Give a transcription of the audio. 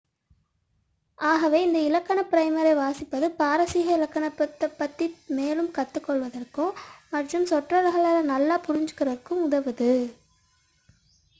ஆகவே இந்த இலக்கண ப்ரைமரை வாசிப்பது பாரசீக இலக்கணத்தைப் பற்றி மேலும் கற்றுகொள்வதற்கும் மற்றும் சொற்றொடர்களை நன்றாக புரிந்துக்கொள்ள உதவுகிறது